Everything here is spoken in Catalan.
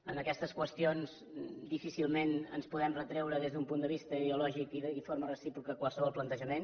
en aquestes qüestions difícilment ens podem retreure des d’un punt de vista ideològic i de forma recíproca qualsevol plantejament